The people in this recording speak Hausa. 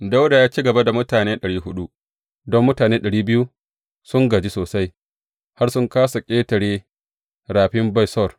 Dawuda ya ci gaba da mutane ɗari huɗu, don mutane ɗari biyu sun gaji sosai har sun kāsa ƙetare rafin Besor.